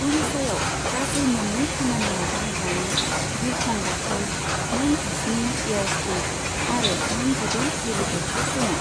उड़िशायाव गासै मोननै खामानियाव बाहायजानाय बिरखं गाथोन, मोन जिस्नि एयारस्ट्रिप आरो मोन जिद' हेलिपेडफोर दङ।